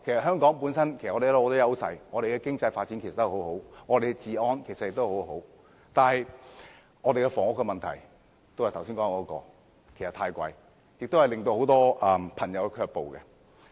香港本身有很多優勢，經濟發展及治安皆很好，但住屋開支卻正如我剛才所說般太高昂，令很多朋友卻步。